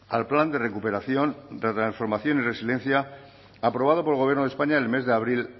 al plan de recuperación transformación y resiliencia aprobado por el gobierno de españa en el mes de abril